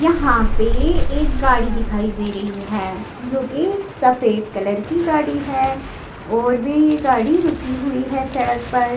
यहाँ पे एक गाड़ी दिखाई दे रही है जो कि सफेद कलर की गाड़ी है और भी ये गाड़ी रुकी हुई है सड़क पर--